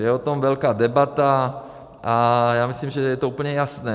Je o tom velká debata a já myslím, že je to úplně jasné.